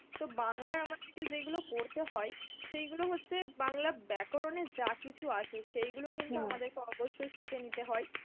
তো বাংলার আমাদের কে যেগুলো পড়তে হয় সেইগুলো হচ্ছে বাংলা ব্যাকরণের যাকিছু আছে সেইগুলো কিন্তু আমাদের কে অবশ্যই শিখে নিতে হয়.